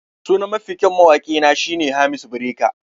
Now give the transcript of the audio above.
Sunan Mafi kyau mawaki na shine Hamisu Breaker.